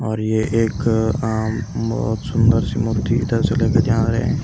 और ये एक आं बहुत सुंदर सी मूर्ति इधर से ले के जा रहे हैं ।